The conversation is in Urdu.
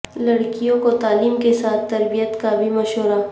لڑکیوں کو تعلیم کے ساتھ تربیت کا بھی مشورہ